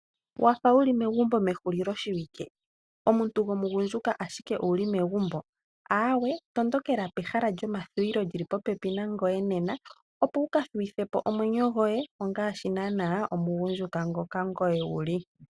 Wafa wuli megumbo ehulilo shiwike? Omuntu gomugundjuka ashike owu li megumbo? Awee tondokela pehala lyomathuwilo lyili po pepi nangoye nena, opo wu ka thuwithe po omwenyo gwoye ongaashi naana omugundjuka ngoka ngoye wu li.